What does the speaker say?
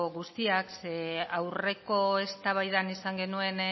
guztiak zeren aurreko eztabaidan izan genuen